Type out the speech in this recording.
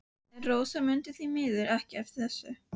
En Rósa mundi því miður ekki eftir þessu.